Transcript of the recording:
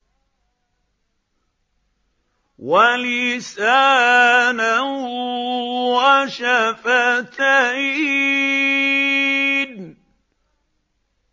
وَلِسَانًا وَشَفَتَيْنِ